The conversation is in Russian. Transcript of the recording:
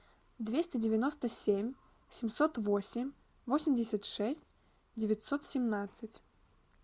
двести девяносто семь семьсот восемь восемьдесят шесть девятьсот семнадцать